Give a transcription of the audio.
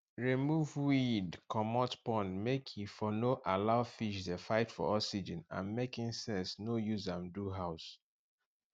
remove weeed comot pond make e for no allow fish de fight for oxygen and make insects no use am do house